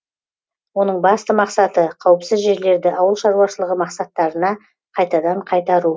оның басты мақсаты қауіпсіз жерлерді ауыл шаруашылығы мақсаттарына қайтадан қайтару